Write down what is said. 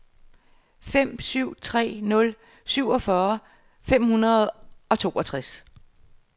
fem syv tre nul syvogfyrre fem hundrede og toogtres